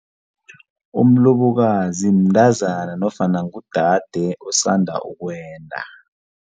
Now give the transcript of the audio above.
Umlobokazi mntazana nofana ngudade osanda ukwenda.